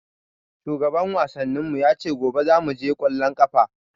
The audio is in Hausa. Shugaban wasannin mu ya ce gobe zamu je ƙwallon ƙafa.